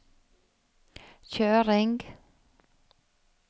kjøring